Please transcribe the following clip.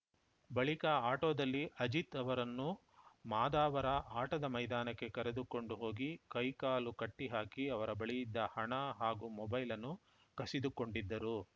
ಬಳಿಕ ಆಟೋದಲ್ಲಿ ಅಜಿತ್‌ ಅವರನ್ನು ಮಾದಾವರ ಆಟದ ಮೈದಾನಕ್ಕೆ ಕರೆದುಕೊಂಡು ಹೋಗಿ ಕೈ ಕಾಲು ಕಟ್ಟಿಹಾಕಿ ಅವರ ಬಳಿಯಿದ್ದ ಹಣ ಹಾಗೂ ಮೊಬೈಲ್‌ ಅನ್ನು ಕಸಿದುಕೊಂಡಿದ್ದರು